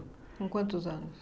Com quantos anos?